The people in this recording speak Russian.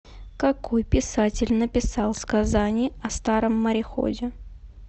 какой писатель написал сказание о старом мореходе